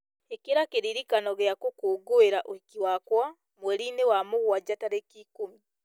ĩkĩra kĩririkano gĩa gũkũngũĩra ũhiki wakwa mweri-inĩ wa mũgwanja tarĩki ikũmi